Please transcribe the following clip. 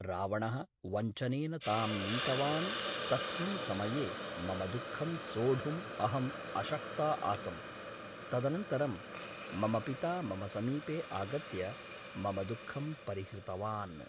रावणः वञ्चनेन तां नीतवान् तस्मिन् समये मम दुःखं सोढुम् अहम् अशक्ता आसं तदनन्तरं मम पिता मम समीपे आगत्य मम दुःखं परिहृतवान्